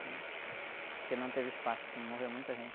né? Porque não teve espaço, morreu muita gente.